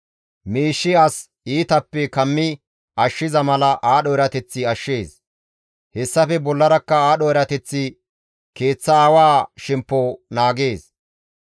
Miishshi as iitappe kammi ashshiza mala aadho erateththi ashshees. Hessafe bollarakka aadho erateththi keeththa aawa shemppo naagees.